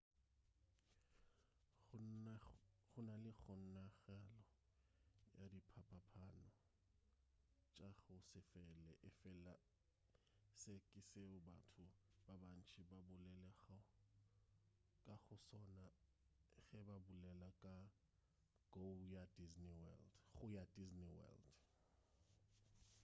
gona le kgonagalo ya diphapaphapano tša go se fele efela se ke seo batho ba bantši ba bolelago ka go sona ge ba bolela ka go ya disney world